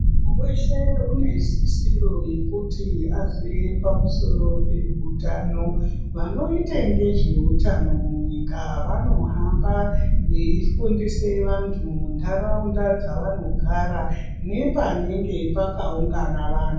...weshe unesisiro yekuti aziye pamusoro peutano. Vanoite ngezveutano munyika vanohamba veifundise vantu muntaraunda dzavanogara nepanenge pakaungana vantu.